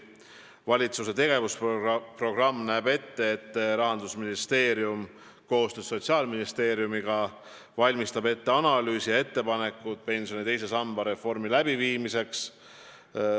Valitsuse tegevusprogramm näeb ette, et Rahandusministeerium valmistab koostöös Sotsiaalministeeriumiga ette analüüsi ja ettepanekud pensioni teise samba reformi läbiviimiseks.